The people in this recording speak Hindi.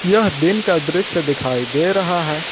यह दिन का दृश्य दिखाई दे रहा है।